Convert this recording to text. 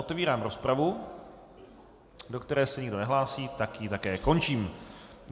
Otevírám rozpravu, do které se nikdo nehlásí, tak ji také končím.